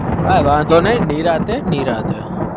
કાય વધો નઈ નિરાતે નિરાતે